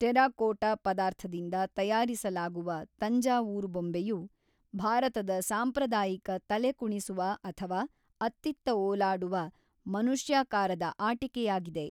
Terracotta ಪದಾರ್ಥದಿಂದ ತಯಾರಿಸಲಾಗುವ ತಂಜಾವೂರು ಬೊಂಬೆಯು, ಭಾರತದ ಸಾಂಪ್ರದಾಯಿಕ ತಲೆಕುಣಿಸುವ ಅಥವಾ ಅತ್ತಿತ್ತ ಓಲಾಡುವ, ಮನುಷ್ಯಾಕಾರದ ಆಟಿಕೆಯಾಗಿದೆ.